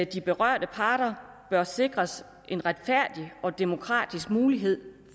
de berørte parter bør sikres en retfærdig og demokratisk mulighed